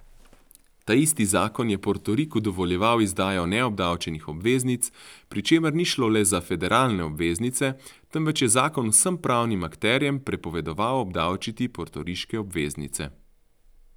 Ta isti zakon je Portoriku dovoljeval izdajo neobdavčenih obveznic, pri čemer ni šlo le za federalne obveznice, temveč je zakon vsem pravnim akterjem prepovedoval obdavčiti portoriške obveznice.